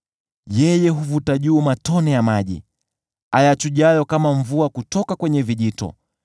“Yeye huvuta juu matone ya maji, ayachujayo kama mvua kutoka kwenye vijito;